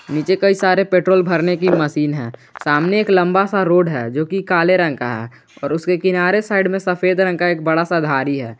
नीचे कई सारे पेट्रोल भरने की मशीन है सामने एक लंबा सा रोड है जोकि काले रंग का है और उसके किनारे साइड में सफेद रंग का बड़ा सा धारी है।